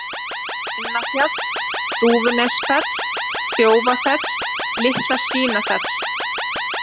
Kinnafjall, Dúfunefsfell, Þjófafell, Litla-Svínafell